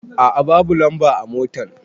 A a babu lamba a motan.